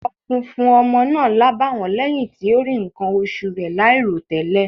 Aṣọ funfun ọmọ náà lábàwọ́n lẹ́yìn tí ó rí nǹkan oṣù rẹ̀ láìròtẹ́lẹ̀.